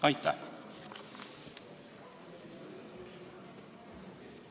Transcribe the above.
Aitäh!